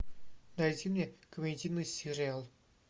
найди мне комедийный сериал